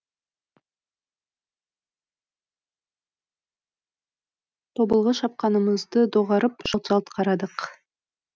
тобылғы шапқанымызды доғарып жалт жалт қарадық